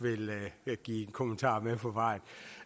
vil give en kommentar med på vejen